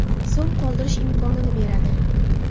so‘m qoldirish imkonini beradi.